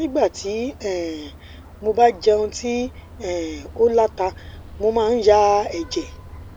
nígbà tí um mo bá jẹun tí um ó la ta mo máa ń ya ẹjẹ